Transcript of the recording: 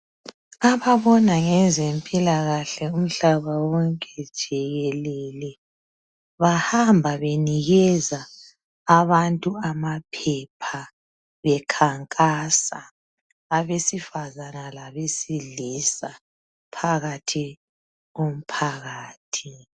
Ababona ngezempilakahle umhlaba wonke jikelele bahamba benikeza abantu amaphepha bekhankasa abesifane labesilisa phakathi komphakathi